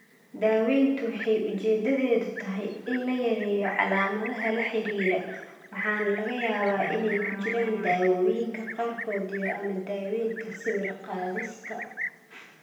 Daaweyntu waxay ujeedadeedu tahay in la yareeyo calaamadaha la xidhiidha waxaana laga yaabaa inay ku jiraan daawooyinka qaarkood iyo/ama daaweynta sawir-qaadista.